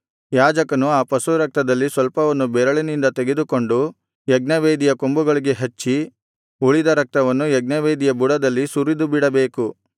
ಯಾಜಕನು ಆ ಪಶುರಕ್ತದಲ್ಲಿ ಸ್ವಲ್ಪವನ್ನು ಬೆರೆಳಿನಿಂದ ತೆಗೆದುಕೊಂಡು ಯಜ್ಞವೇದಿಯ ಕೊಂಬುಗಳಿಗೆ ಹಚ್ಚಿ ಉಳಿದ ರಕ್ತವನ್ನು ಯಜ್ಞವೇದಿಯ ಬುಡದಲ್ಲಿ ಸುರಿದುಬಿಡಬೇಕು